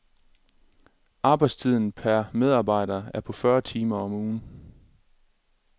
Arbejdstiden per medarbejder er på fyrre timer om ugen.